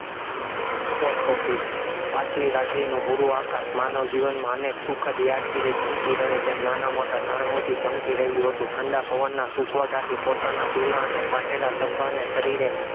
post-office પાછલી રાત્રિનું ભૂરું આકાશ માનો જીવનમાં અનેક સુખદ યાદગીરી ચમકી રહે તેમ નાના-મોટા તારાઓથી ચમકી રહ્યું હતું, ઠંડા પવનના સુસવાટાથી પોતાના જુના અને ફાટેલા ઝભ્ભાને શરીરે